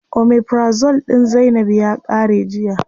Omeprazole din zainab ya qare jiya.